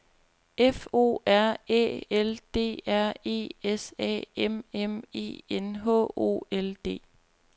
F O R Æ L D R E S A M M E N H O L D